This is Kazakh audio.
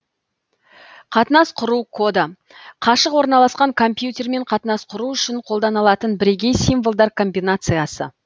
қатынас құру коды қашық орналасқан компьютермен қатынас құру үшін қолданылатын бірегей символдар комбинациясы